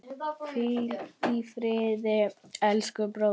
Hvíl í friði, elsku bróðir.